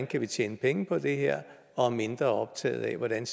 kan tjene penge på det her og mindre optaget af hvordan